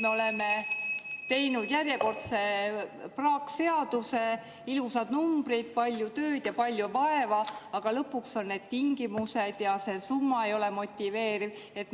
Me oleme teinud järjekordse praakseaduse, kus on ilusad numbrid, palju tööd ja palju vaeva, aga kas lõpuks, et need tingimused ja see summa ei ole motiveerivad?